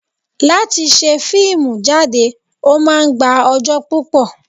Láti ṣe fíìmù jáde, ó máa ń gba ọjọ́ púpò.